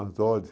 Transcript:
Às ordens.